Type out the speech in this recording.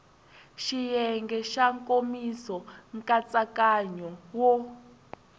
xiyenge xa nkomiso nkatsakanyo wo